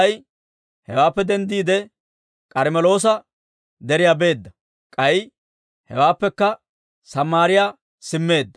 Elssaa'i hewaappe denddiide, K'armmeloosa Deriyaa beedda; k'ay hewaappekka Samaariyaa simmeedda.